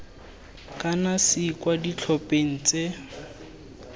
kana c kwa ditlhopheng tse